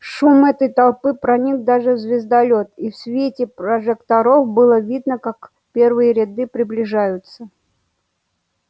шум этой толпы проник даже в звездолёт и в свете прожекторов было видно как первые ряды приближаются